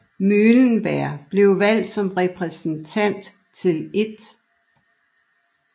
Muhlenberg blev valgt som repræsentant til 1